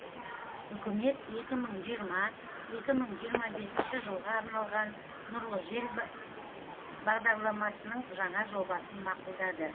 үкімет екі мың жиырма екі мың жиырма бесінші жылға арналған нұрлы жер бағдарламасының жаңа жобасын мақұлдады